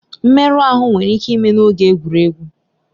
Mmerụ ahụ nwere ike ime n'oge egwuregwu.